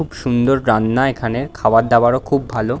খুব সুন্দর রান্না এখানে। খাবার দাবারও খুব ভালো।